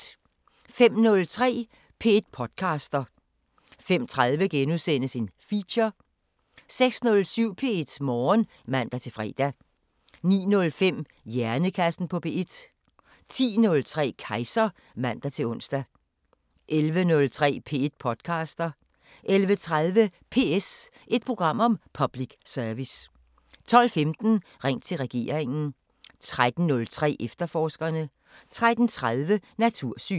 05:03: P1 podcaster 05:30: Feature * 06:07: P1 Morgen (man-fre) 09:05: Hjernekassen på P1 10:03: Kejser (man-ons) 11:03: P1 podcaster 11:30: PS – et program om public service 12:15: Ring til regeringen 13:03: Efterforskerne 13:30: Natursyn